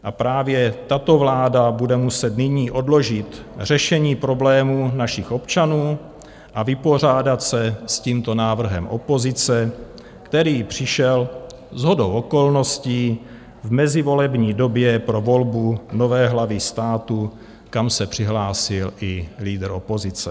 A právě tato vláda bude muset nyní odložit řešení problémů našich občanů a vypořádat se s tímto návrhem opozice, který přišel shodou okolností v mezivolební době pro volbu nové hlavy státu, kam se přihlásil i lídr opozice.